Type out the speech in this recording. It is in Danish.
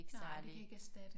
Nej det kan ikke erstatte